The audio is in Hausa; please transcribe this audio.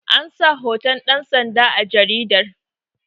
an sa hoton dansanda a jaridatar